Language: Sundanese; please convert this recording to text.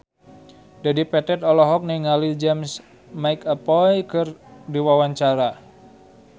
Dedi Petet olohok ningali James McAvoy keur diwawancara